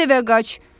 Tez evə qaç!